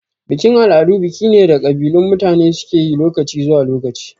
Bikin-al'adu biki ne da kabilun mutane suke lokaci zuwa lokaci.